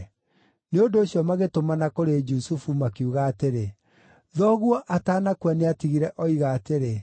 Nĩ ũndũ ũcio magĩtũmana kũrĩ Jusufu makiuga atĩrĩ, “Thoguo atanakua nĩatigire oiga atĩrĩ: